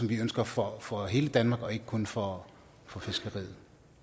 vi ønsker for for hele danmark og ikke kun for for fiskeriet